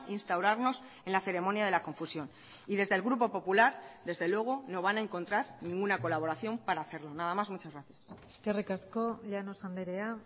instaurarnos en la ceremonia de la confusión y desde el grupo popular desde luego no van a encontrar ninguna colaboración para hacerlo nada más muchas gracias eskerrik asko llanos andrea